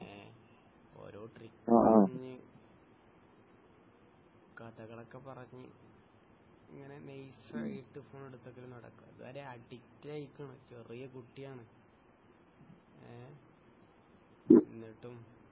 ഏഹ് ഓരോ ട്രിക് കഥകളൊക്കെ പറഞ്ഞു ഇങ്ങനെ നൈസ് ആയിട്ട് ഫോൺ എടുത്ത് വെക്കൽ നടക്കും അഡിക്റ്റായിരിക്കുന്നു ചെറിയ കുട്ടിയാണ് ഏഹ് എന്നിട്ടും